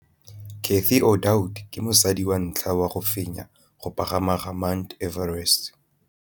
Cathy Odowd ke mosadi wa ntlha wa go fenya go pagama ga Mt Everest.